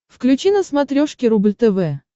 включи на смотрешке рубль тв